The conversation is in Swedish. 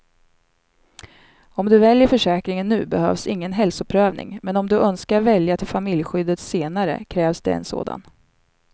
Om du väljer försäkringen nu behövs ingen hälsoprövning, men om du önskar välja till familjeskyddet senare krävs det en sådan.